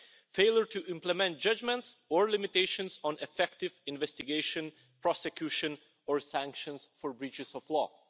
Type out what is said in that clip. failure to implement judgments, or limitations on effective investigation, prosecution or sanctions for breaches of law.